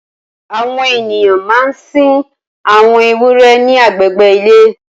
Awọn éniyàn mà n sin awọn éwùrè ni àgbégbé ilé